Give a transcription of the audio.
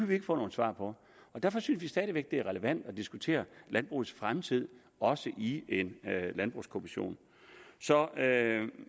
vi ikke få nogen svar på og derfor synes vi stadig væk det er relevant at diskutere landbrugets fremtid også i en landbrugskommission så